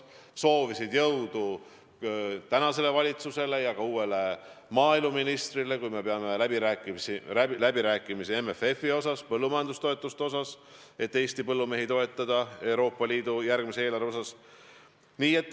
Nad soovisid jõudu tänasele valitsusele ja ka uuele maaeluministrile, et kui me peame läbirääkimisi MFF-i üle, põllumajandustoetuste üle, siis me saavutaksime Eesti põllumeeste suurema toetamise Euroopa Liidu järgmisest eelarvest.